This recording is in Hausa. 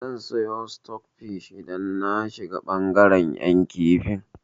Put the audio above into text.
Zan siyo sitok fish idan na shiga bangaren 'yan kifi.